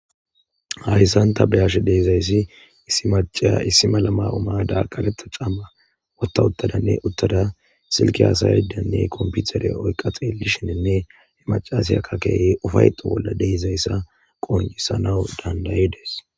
hhissan ta beyashe deezayssi issi maciya issimala mayo7o ma7ada qareta camma wottauttadanne uttada silki haasayaddanne komputere oyqa xelishenenne he macasyakka keey ufayto bolla deezayssa qoncisana dandayi dees